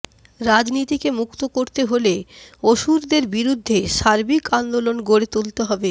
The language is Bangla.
রাজনীতিকে মুক্ত করতে হলে অসুরদের বিরুদ্ধে সার্বিক আন্দোলন গড়ে